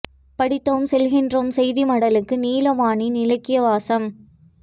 படித்தோம் சொல்கின்றோம் செய்தி மடலுக்குள் நீலாவணனின் இலக்கியவாசம்